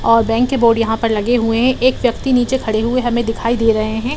और बैंक के बोर्ड यहाँ पर लगे हुए हैं एक व्यक्ति नीचे खड़े हुए हमें दिखाई दे रहे हैं।